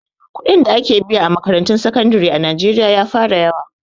Kuɗin da ake biya a makarantun sakandire a najeriya ya fara yawa